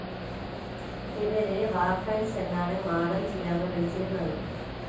ഇവരെ വാർഫൻസ് എന്നാണു മാം ചിയാങ് വിളിച്ചിരുന്നത്..